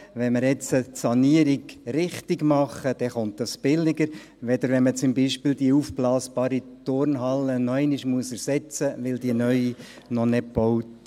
Wenn wir die Sanierung jetzt richtigmachen, so kommt diese billiger zu stehen, als wenn beispielsweise die aufblasbare Turnhalle nochmals ersetzt werden muss, weil die neue noch nicht gebaut wurde.